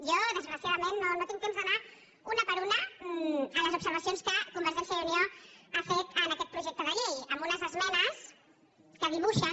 jo desgraciadament no tinc temps d’anar una per una a les observacions que convergència i unió ha fet en aquest projecte de llei amb unes esmenes que dibuixen